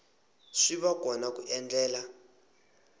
swi va kona ku endlela